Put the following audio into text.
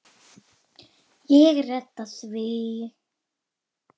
Ég redda því.